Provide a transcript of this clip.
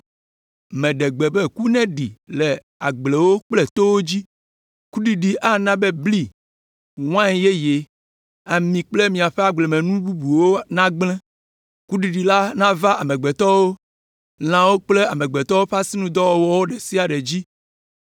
Meɖe gbe be ku neɖi le agblewo kple towo dzi. Kuɖiɖi ana bli, wain yeye, ami kple miaƒe agblemenu bubuwo nagblẽ. Kuɖiɖi la nava amegbetɔwo, lãwo kple amegbetɔwo ƒe asinudɔwɔwɔ ɖe sia ɖe dzi.”